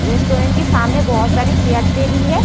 Restaurant के सामने बोहोत सारे चैयर टेबिल है।